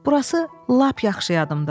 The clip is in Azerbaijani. Burasi lap yaxşı yadımdadır.